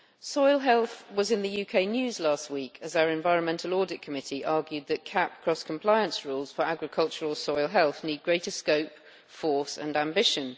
Soil health was in the UK news last week as our Environmental Audit Committee argued that CAP cross compliance rules for agricultural soil health need greater scope, force and ambition.